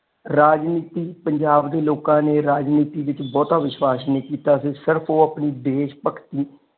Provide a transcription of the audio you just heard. ਰਾਜਨੀਤੀ ਪੰਜਾਬ ਦੇ ਲੋਕਾਂ ਨੇ ਰਾਜਨੀਤੀ ਵਿਚ ਬਹੁਤਾ ਵਿਸ਼ਵਾਸ਼ ਨਹੀਂ ਕੀਤਾ ਸੀ ਸਿਰਫ ਉਹ ਆਪਣੀ ਦੇਸ਼ ਭਗਤੀ।